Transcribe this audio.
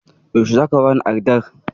Yaushe zaka bani addar?